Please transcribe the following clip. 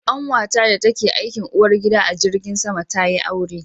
Ƙanwata da ta ke aikin uwar gida a jirgin sama ta yi aure